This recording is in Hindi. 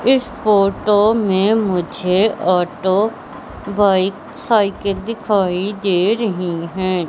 इस फोटो में मुझे ऑटो बाइक साइकिल दिखाई दे रही है।